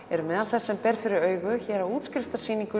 eru meðal þess sem ber fyrir augu hér á